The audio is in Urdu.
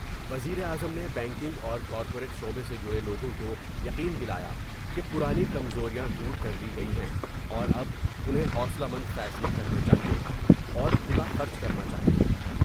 وزیر اعظم نے بینکنگ اور کارپوریٹ شعبے سے جڑے لوگوں کو یقین دلا یا کہ پرانی کمزوریاں دور کر لی گئی ہیں اور اب انہیں حوصلہ مند فیصلے کرنے چاہئے ، اور کھلاخرچ کرنا چاہئے ۔